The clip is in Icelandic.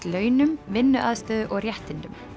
launum vinnuaðstöðu og réttindum